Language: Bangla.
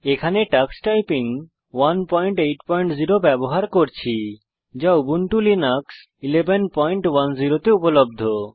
এখানে টাক্স টাইপিং 180 ব্যবহার করছি যা উবুন্টু লিনাক্স 1110 তে উপলব্ধ